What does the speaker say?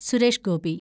Suresh Gopi